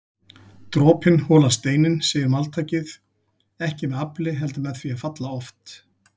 Dropinn holar steininn segir máltækið, ekki með afli heldur með því að falla oft